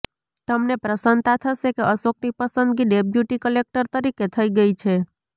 તમને પ્રસન્નતા થશે કે અશોકની પસંદગી ડેપ્યુટી કલેક્ટર તરીકે થઇ ગઈ છે